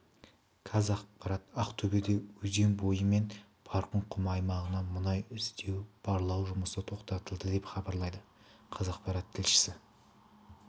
қазақпарат ақтөбеде өзен бойы мен барқын құмы аймағынан мұнай іздеу-барлау жұмысы тоқтатылды деп хабарлайды қазақпарат тілшісі